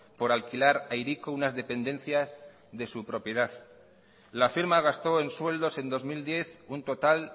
por alquilar a hiriko unas dependencias de su propiedad la firma gastó en sueldos en dos mil diez un total